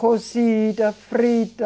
Cozida, frita.